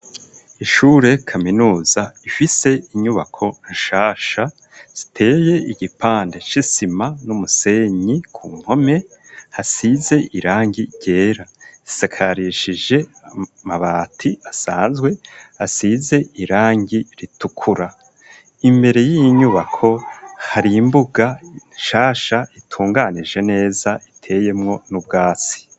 Ishure kaminuza ifise inyubako nshasha ziteye igipande c'isima n'umusenyi ku mpome hasize irangi ryera zisakarishije amabati asanzwe asize irangi ritukura imbere y'iinyubako harimbuga nshasha itunganije neza iteyemwo n'ubwasi.